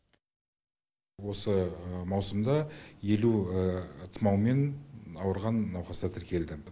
осы маусымда елу тұмаумен ауырған науқастар тіркелді